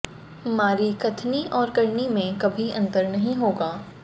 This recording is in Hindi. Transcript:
हमारी कथनी और करनी में कभी अंतर नहीं होगा